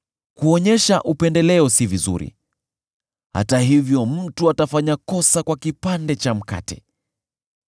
Kuonyesha upendeleo si vizuri, hata hivyo mtu atafanya kosa kwa kipande cha mkate.